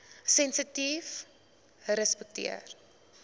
sensitiefrespekteer